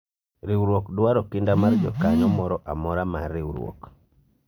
riwruok dwaro kinda mar jakanyo moro amora mar riwruok